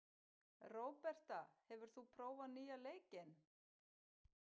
Róberta, hefur þú prófað nýja leikinn?